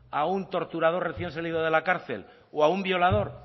a un torturador recién salido de la cárcel o a un violador